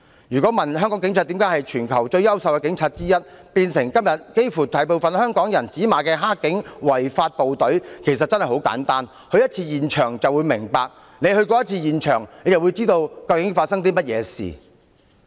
如果問香港警察為何由全球最優秀的警察之一，變成今天幾乎大部分香港人指罵的"黑警"、違法部隊，答案其實真的很簡單，只要去過一次示威衝突現場便會明白，只要去過一次現場便會知道究竟發生了甚麼事。